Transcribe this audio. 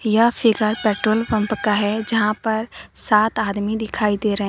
यह figure petrol pump का है जहां पर सात आदमी दिखाई दे रहे हैं।